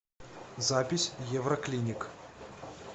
запись евроклиник